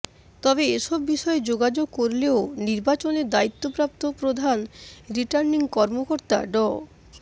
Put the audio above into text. তবে এসব বিষয় যোগাযোগ করলেও নির্বাচনের দায়িত্বপ্রাপ্ত প্রধান রিটার্নিং কর্মকর্তা ড